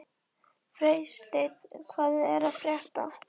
Freysteinn, hvað er að frétta?